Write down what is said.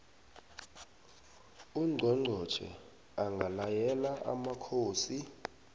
ungqongqotjhe angalayela amakhosi